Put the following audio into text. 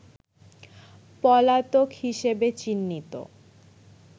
পলাতক হিসেবে চিহ্নিত